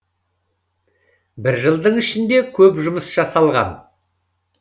бір жылдың ішінде көп жұмыс жасалған